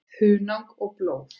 Hunang og blóð